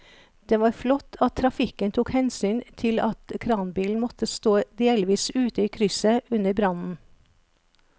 Det var flott at trafikken tok hensyn til at kranbilen måtte stå delvis ute i krysset under brannen.